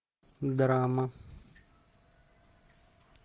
драма